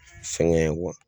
Sɛgɛn